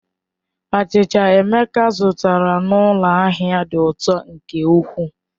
Achịcha Emeka zụtara n'ụlọ ahịa dị ụtọ nke ukwuu.